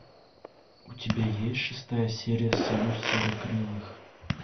у тебя есть шестая серия союз серокрылых